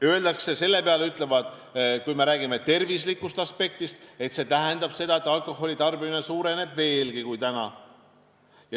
Kui me räägime terviseaspektist, siis selle peale öeldakse, et see tähendab, et alkoholitarbimine suureneb veelgi.